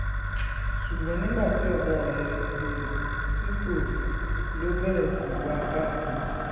ṣùgbọ́n nígbà tí ọ̀gá ẹ̀ retí ẹ̀ tí kò rí i ló bẹ̀rẹ̀ sí í wá a kiri